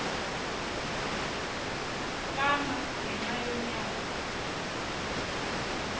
fama ngenxa yonyana